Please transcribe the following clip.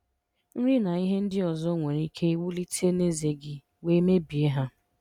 Nri na ihe ndị ọzọ nwere ike wulite n'ezé gị wee mebie ha.